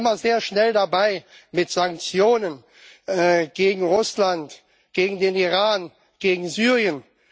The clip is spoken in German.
Sie sind immer sehr schnell dabei mit Sanktionen gegen Russland, gegen den Iran, gegen Syrien.